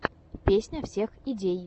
песня всех идей